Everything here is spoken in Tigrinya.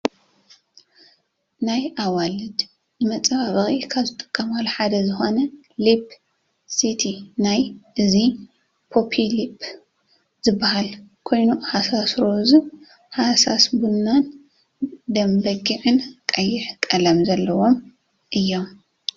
ናይ ኣዋልድ ንመፀባባቂ ካብ ዝጥቀማሉ ሓደ ዝኮነ ሊፕ ስቲ እዩ እዚ ቢቢ ሊፕ ዝበሃል ኮይኑ ሃሳስ ሮዝ፣ ሃሳስ ቡናን ደምበጊዕን ቀይሕ ቀለም ዘለዎም እዮም።